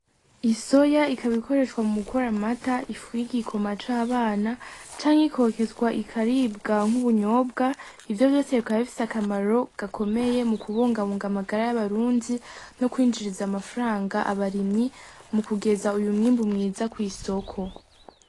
Isoya ikaba ikoreshwa mu gukora amata ifu y'igikoma c'abana canke ikokezwa ikaribwa nk'ubunyobwa ivyo vyose bikaba bifise akamaro gakomeye mu kubungabunga amagara y'abarundi no kwinjiriza amafranga abarimyi mu kugeza uyu mwimbu mwiza kw'isoko.